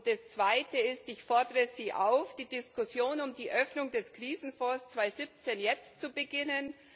Das Zweite ist Ich fordere Sie auf, die Diskussion um die Öffnung des Krisenfonds 2017 jetzt zu beginnen.